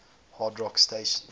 hard rock stations